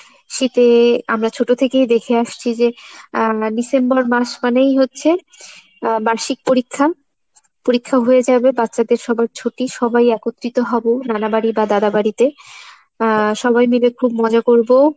শীতে আমরা ছোট থেকেই দেখে আসছি যে আহ December মাস মানেই হচ্ছে আহ বার্ষিক পরীক্ষা। পরীক্ষা হয়ে যাবে বাচ্চাদের সবার ছুটি সবাই একত্রিত হবে নানাবাড়ি বা দাদাবাড়িতে, আহ সবাই মিলে খুব মজা করবো